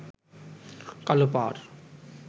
কালো পাড়